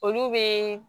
Olu bɛ